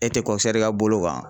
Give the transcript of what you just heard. E tɛ ka bolo kan.